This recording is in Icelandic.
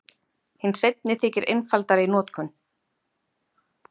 Hinn seinni þykir einfaldari í notkun.